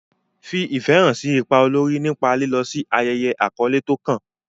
Fi ìfẹ́ hàn sí ipa olórí nípa lílọ sí ayẹyẹ àkọ́lé tó kàn.